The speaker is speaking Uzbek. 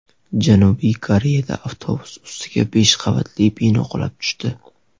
Janubiy Koreyada avtobus ustiga besh qavatli bino qulab tushdi.